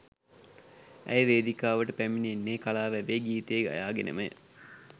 ඇය වේදිකාවට පැමිණෙන්නේ කලා වැවේ ගීතය ගයා ගෙනමය